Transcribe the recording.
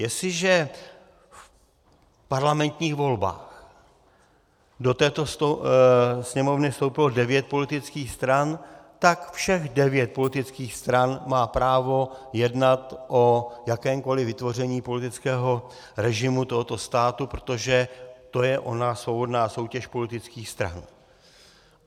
Jestliže v parlamentních volbách do této Sněmovny vstoupilo devět politických stran, tak všech devět politických stran má právo jednat o jakémkoli vytvoření politického režimu tohoto státu, protože to je ona svobodná soutěž politických stran.